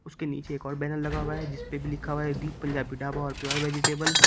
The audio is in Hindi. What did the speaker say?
उसके नीचे एक और बैनर लगा हुआ है जिसपे भी लिखा है दीप पंजाबी ढाबा और प्योर वेजिटेबल --